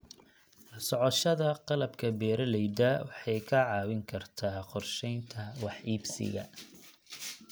La socoshada qalabka beeralayda waxay kaa caawin kartaa qorsheynta wax iibsiga.